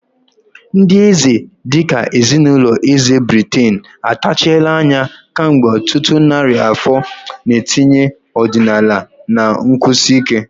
Ndị eze dị ka ezinụlọ eze Britain atachiela anya kemgbe ọtụtụ narị afọ, na-etinye ọdịnala na nkwụsi ike.